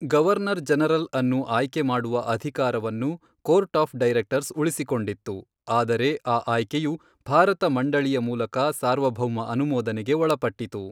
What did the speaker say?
Governor ಜನರಲ್ಅನ್ನು ಆಯ್ಕೆ ಮಾಡುವ ಅಧಿಕಾರವನ್ನು, ಕೋರ್ಟ್ ಆಫ್ ಡೈರೆಕ್ಟರ್ಸ್ ಉಳಿಸಿಕೊಂಡಿತ್ತು, ಆದರೆ ಆ ಆಯ್ಕೆಯು, ಭಾರತ ಮಂಡಳಿಯ ಮೂಲಕ ಸಾರ್ವಭೌಮ ಅನುಮೋದನೆಗೆ ಒಳಪಟ್ಟಿತು.